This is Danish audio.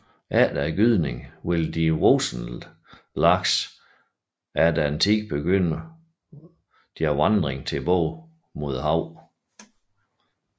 Efter gydningen vil de voksne laks efter en tid begynde vandringen tilbage mod havet